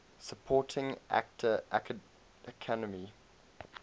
supporting actor academy